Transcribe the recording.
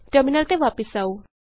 terminal ਤੇ ਵਾਪਸ ਆਉ